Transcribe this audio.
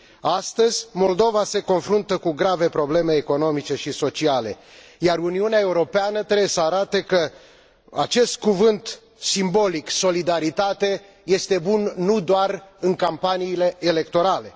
Astăzi, Moldova se confruntă cu grave probleme economice și sociale, iar Uniunea Europeană trebuie să arate că acest cuvânt simbolic solidaritate este bun nu doar în campaniile electorale.